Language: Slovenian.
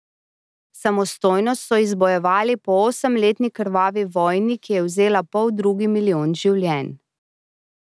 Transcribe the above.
Samostojnost so izbojevali po osemletni krvavi vojni, ki je vzela poldrugi milijon življenj.